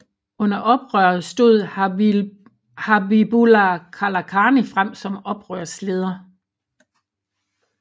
Under oprøret stod Habibullah Kalakani frem som oprørsleder